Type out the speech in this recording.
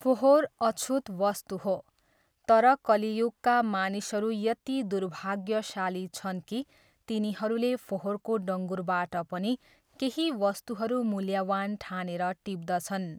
फोहोर अछुत वस्तु हो तर कलियुगका मानिसहरू यति दुर्भाग्यशाली छन् कि तिनीहरूले फोहोरको डङ्गुरबाट पनि केही वस्तुहरू मूल्यवान् ठानेर टिप्दछन्।